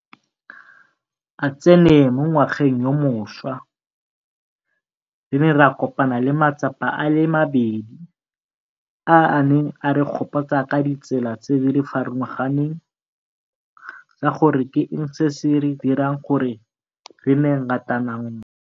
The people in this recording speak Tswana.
a tsene mo ngwageng yo mošwa, re ne ra kopana le matsapa a le mabedi a a neng a re gopotsa ka ditsela tse di farologaneng tsa gore ke eng se se re dirang gore re nne ngatananngwe.